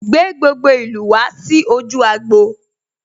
Gbé gbogbo ìlú ìlú wá sí ojú agbo'